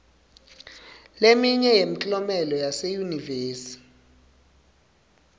leminye yemklomelo yaseyunivesi